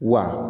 Wa